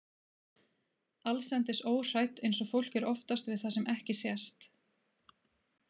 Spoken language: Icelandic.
Allsendis óhrædd eins og fólk er oftast við það sem ekki sést.